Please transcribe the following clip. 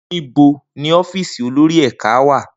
Nibo ni ọfíìsì ti olori ẹka wa?